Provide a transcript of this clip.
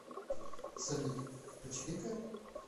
салют почирикаем